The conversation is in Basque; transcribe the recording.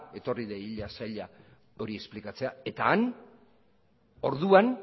etorri dadila saila hori esplikatzea eta han orduan